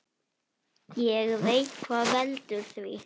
Ég veit hvað veldur því.